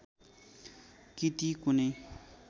कि ती कुनै